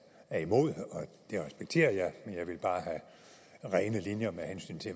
er imod det respekterer jeg men jeg vil bare have rene linjer med hensyn til